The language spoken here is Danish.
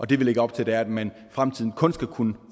det vi lægger op til er at man i fremtiden kun skal kunne